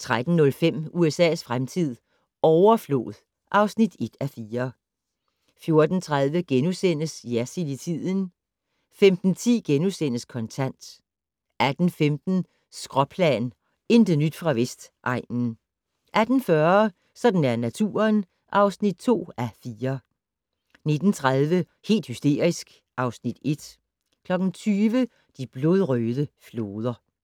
13:05: USA's fremtid - overflod (1:4) 14:30: Jersild i tiden * 15:10: Kontant * 18:15: Skråplan - intet nyt fra Vestegnen 18:40: Sådan er naturen (2:4) 19:30: Helt hysterisk (Afs. 1) 20:00: De blodrøde floder